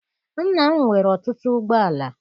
Nna m nwere ọtụtụ ụgbọala.